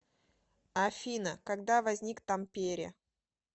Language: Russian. афина когда возник тампере